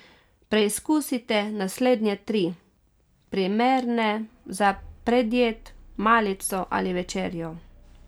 Preizkusite naslednje tri, primerne za predjed, malico ali večerjo.